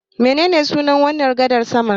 Menene sunan wannan gadar saman?